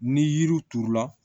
Ni yiriw turula